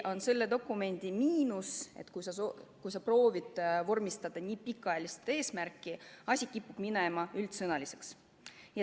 Kuid selle dokumendi miinus on, et kui proovitakse vormistada nii pikaajalist eesmärki, siis kipub jutt minema liiga üldsõnaliseks.